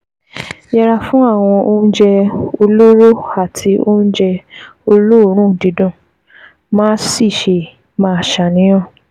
Yẹra fún àwọn oúnjẹ olóró àti oúnjẹ olóòórùn dídùn, má sì ṣe máa ṣàníyàn